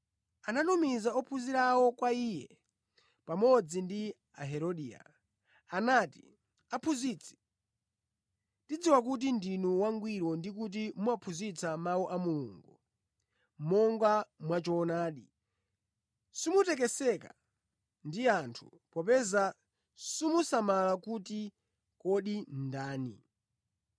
Anatumiza ophunzira awo kwa Iye pamodzi ndi Aherodia. Anati, “Aphunzitsi, tidziwa kuti ndinu wangwiro ndi kuti mumaphunzitsa mawu a Mulungu monga mwa choonadi. Simutekeseka ndi anthu, popeza simusamala kuti kodi ndi ndani?